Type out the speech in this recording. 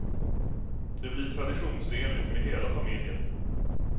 Det blir traditionsenligt med hela familjen.